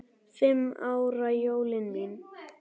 Fimm ára jólin mín.